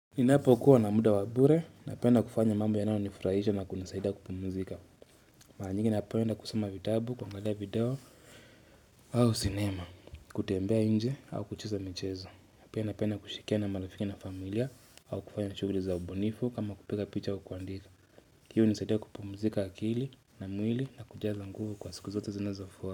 Ninapokuwa na muda wa bure napenda kufanya mambo yanayonifurahisha na kunusaidia kupumuzika. Mara nyingi napenda kusoma vitabu kuangalia video au sinema kutembea inje au kucheza michezo pia napenda kushikia na marafiki na familia au kufanya shughuli za ubunifu kama kupiga picha au kuandika. Hiyo hunisaidia kupumuzika akili na mwili na kujaza nguvu kwa siku zote zinazofua.